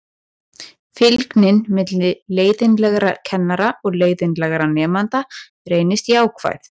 Fylgnin milli leiðinlegra kennara og leiðinlegra nemenda reyndist jákvæð.